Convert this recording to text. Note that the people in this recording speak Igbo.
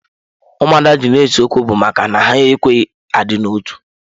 Ụmụada ji na ese okwu bụ maka na ha ekweghị adị na otu.